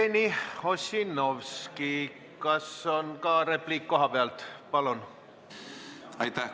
Jevgeni Ossinovski, kas on ka repliik kohapealt?